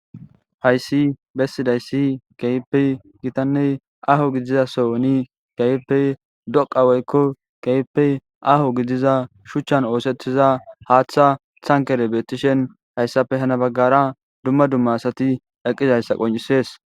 hayssi bessidayssi kepe gitanney aho gidizasoni keypey doqa woykko keypey aho gidiza shuchchan oosettiza haaththa thankerebetishen hayssafe hana baggara dumma dumma asati eqqizayssa qoncisees